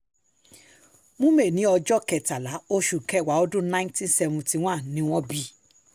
mu meh ní ọjọ́ um kẹtàlá oṣù kẹwàá ọdún nineteen seventy one ni wọ́n bí i